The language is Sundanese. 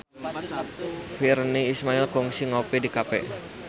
Virnie Ismail kungsi ngopi di cafe